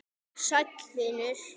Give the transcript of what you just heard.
Sæll, vinur.